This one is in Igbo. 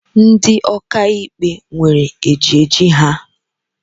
Ndị ọkàikpe nwèrè ejiji ha.